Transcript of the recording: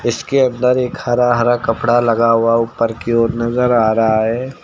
इसके अंदर एक हरा हरा कपड़ा लगा हुआ ऊपर की ओर नजर आ रहा है।